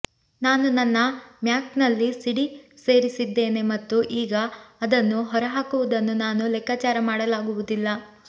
ನಾನು ನನ್ನ ಮ್ಯಾಕ್ನಲ್ಲಿ ಸಿಡಿ ಸೇರಿಸಿದ್ದೇನೆ ಮತ್ತು ಈಗ ಅದನ್ನು ಹೊರಹಾಕುವುದನ್ನು ನಾನು ಲೆಕ್ಕಾಚಾರ ಮಾಡಲಾಗುವುದಿಲ್ಲ